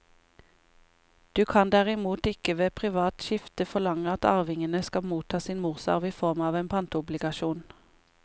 Du kan derimot ikke ved privat skifte forlange at arvingene skal motta sin morsarv i form av en pantobligasjon.